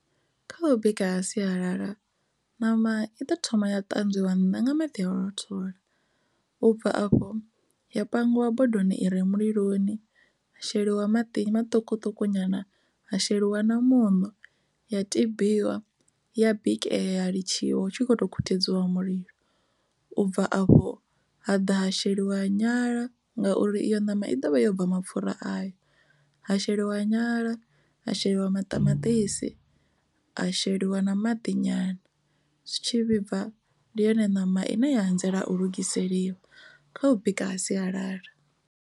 Kha u bika sialala ṋama i ḓo thoma ya ṱanzwiwa nnḓa nga maḓi a u rothola u bva afho ya pangiwa bodoni i re muliloni ya sheliwa maḓi maṱukuṱuku nyana ha sheliwa na muṋo ya tabiwa ya bikea ya litshiwa hu tshi kho to khuthedziwa mulilo u bva afho ha ḓa ha sheliwa ha nyala ngauri iyo ṋama i dovha ya u bva mapfura ayo ha sheliwa wa nyala a sheliwa maṱamaṱisi ha sheliwa na maḓi nyana zwi tshi vhibva ndi yone ṋama ine ya anzela u lugiseliwa kha u bika ha sialala.